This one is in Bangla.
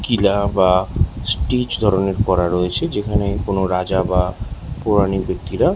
কিলা বা স্টিচ ধরনের করা রয়েছে যেখানে কোন রাজা বা পৌরাণিক ব্যাক্তিরা--